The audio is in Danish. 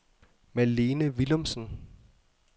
Malene Willumsen